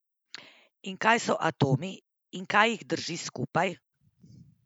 In kaj so atomi, in kaj jih drži skupaj?